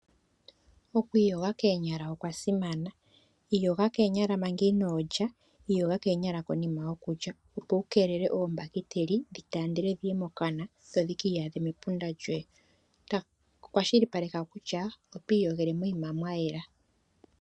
Okwiiyoga koonya okwasimana. Iyoga koonya manga inolya, iyoga koonyala konima yokulya opo wu keelele ombakiteli dhitandele okuya mokana dho dhikiiyadhe mepunda lyoye. Kwashilipaleka kutya oto iyogele moyima mwayela.